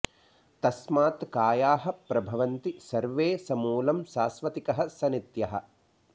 तस्मात् कायाः प्रभवन्ति सर्वे स मूलं शाश्वतिकः स नित्यः